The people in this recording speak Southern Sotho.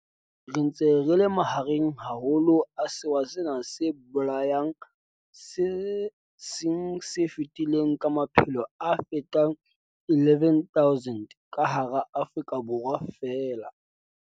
Re ntse re le mahareng haholo a sewa sena se bolayang se seng se fetile ka maphelo a fetang 11 000 ka hara Afrika Borwa feela.